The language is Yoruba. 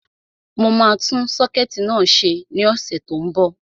Mo máa tún sọ́kẹ̀tì náà ṣe ní ọ̀sẹ̀ tó n bọ̀